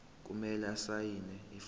kumele asayine ifomu